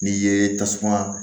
N'i ye tasuma